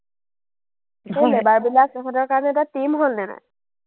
labour বিলাক সিহঁতৰ কাৰণে এটা team হ’ল নে নাই?